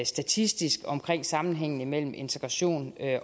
statistisk om sammenhængen mellem integration